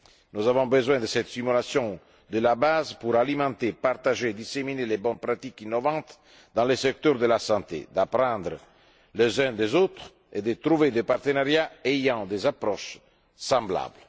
Nous avons besoin de cette stimulation de la base pour alimenter, partager et diffuser les bonnes pratiques innovantes dans le secteur de la santé, d'apprendre les uns des autres et de trouver des partenariats ayant des approches semblables.